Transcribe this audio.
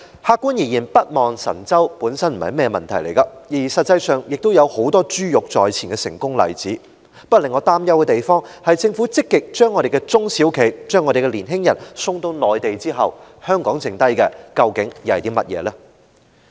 客觀而言，北望神州本來並非問題，而實際上亦有很多珠玉在前的成功例子，但令我擔憂的是政府積極把我們的中小企、年青人送到內地之後，香港還剩下甚麼？